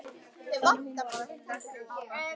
Þannig að hún varð að undirbúa áramótin á hlaupum.